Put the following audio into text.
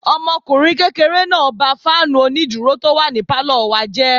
Ọmọkùnrin kékeré náà ba fáànù onídúró tó wà ní pálọ̀ wa jẹ́